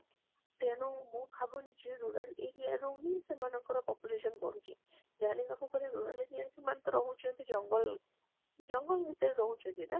ତେଣୁ ମୁଁ ଭାବୁନି ଯେ rural area ରୁ ହିଁ ସେମାଙ୍କ population ବଢୁଛି ଜାଣିବାକୁ rural area ରେ ସେମାନେ ତ ରହୁଛନ୍ତି ଜଙ୍ଗଲ, ଜଙ୍ଗଲ ଭିତରେ ରହୁ କହନ୍ତି ନା